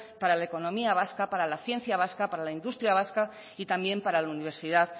para la economía vasca para la ciencia vasca para la industria vasca y también para la universidad